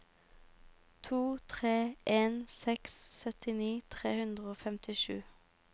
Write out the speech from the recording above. to tre en seks syttini tre hundre og femtisju